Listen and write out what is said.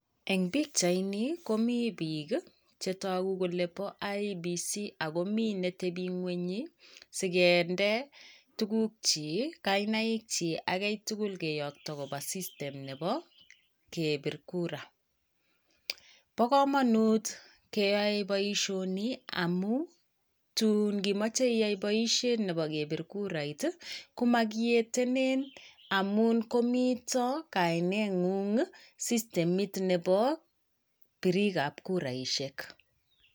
Eng pikyaitni komii biik chetagu kole boo IEBC. Ako mii netebii ngwong'i sikendee tugukchik kainaik chi ak kiy tugul kiyakto kopa system nebo kebir kura. Bo kamanut keyai boishoni amu tun ngimajei iyai boishet nebo kebir kurait i komakietenen amun komito kaine ng'ung systemit nebo birikab kuraishek.